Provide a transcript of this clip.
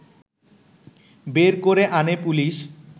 বের করে আনে পুলিশ